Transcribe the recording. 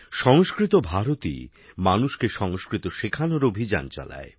সংস্কৃত ভারতী মানুষকে সংস্কৃত শেখানোর অভিযান চালায়